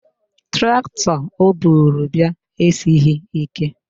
Traktọ o buru bịa esighị ike